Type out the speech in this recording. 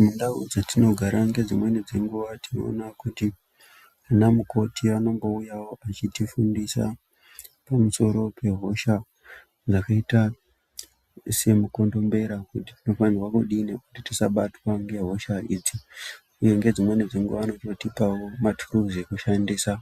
Mundau dzatinogara ngedzimweni dzenguwa tinoona kuti ana mukoti anombouyawo echitifundisa pamusoro pehosha yakaita semukondombera kuti tinofanira kudini kuti tisabatwa ngehosha idzi uye ngedzimweni dzenguwa anombotipao maturuzi ekushandisa